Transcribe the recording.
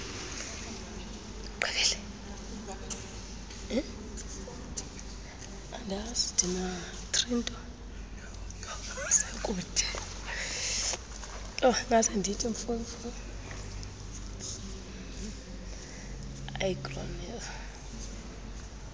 iigroynes iiwaterways neeculverts